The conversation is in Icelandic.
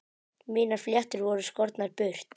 Mínar fléttur voru skornar burt.